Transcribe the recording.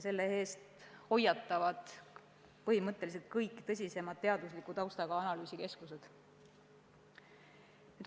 Selle eest hoiatavad põhimõtteliselt kõik tõsisemad teadusliku taustaga analüüsikeskused.